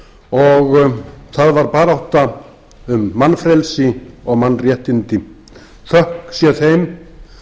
og það var barátta um mannfrelsi og mannréttindi þökk sé þeim